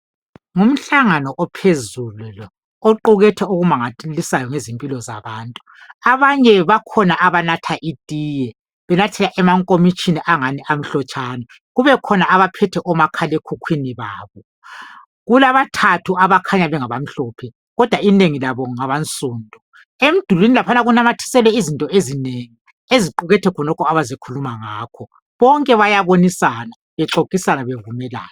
Ngumhlangano ophezulu lo, oqukethe okumangalisayo ngezimpilo zabantu. Abanye bakhona abanatha itiye, benathela emankomitshini angani amhlotshana, kube khona abaphethe omakhalekhukhwini babo. Kulabathathu abakhanya bengabamhlophe, kodwa inengi labo ngabansundu. Emdulwini laphana kunamathiselwe izinto ezinengi eziqukethe khonokho abazekhuluma ngakho, bonke bayabonisana, bexoxisana bevumelana.